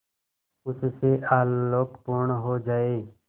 उससे आलोकपूर्ण हो जाए